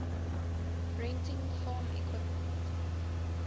renting farm equipment